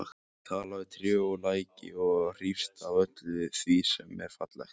Hún talar við tré og læki og hrífst af öllu því sem er fallegt.